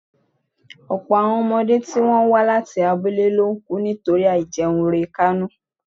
ọ̀pọ̀ àwọn ọmọdé tí wọ́n wà ní abúlé ló ń kú nítorí àìjẹunrekánú